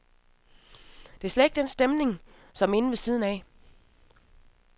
Der er slet ikke den stemning, som inde ved siden af.